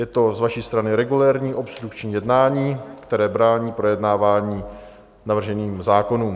Je to z vaší strany regulérní obstrukční jednání, které brání projednání navržených zákonů.